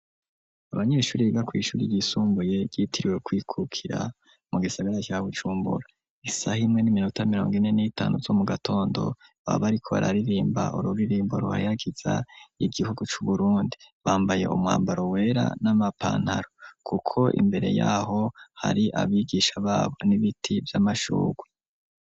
Abanyeshure biga mwishure ry'isumbuye ryitiriwe kwikukira mu gisagara ca Bujumbura isaha imwe n'iminota mirongo ine n'itanu zo mu gatondo babariko bararirimba ururirimbo ruheyagiza igihugu c'uBurundi bambaye umwambaro wera n'amapantaro kuko imbere yaho hari abigisha babo n'ibiti vy'amashugwe.